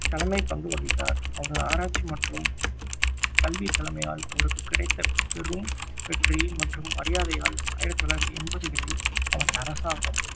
தலைமை பங்கு வகித்தார் அவரது ஆராய்ச்சி மற்றும் கல்வி தலைமையால் அவருக்கு கிடைத்த பெரும் வெற்றி மற்றும் மரியாதையால் ஆயிரத்தி தொள்ளாயிரத்தி எண்பதுகளில் அவரை அரசாங்கம்